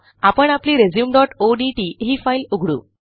आपण आपली resumeओडीटी ही फाईल उघडू